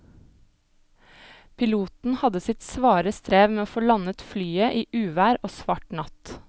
Piloten hadde sitt svare strev med å få landet flyet i uvær og svart natt.